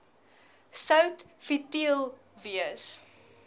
sout futiel wees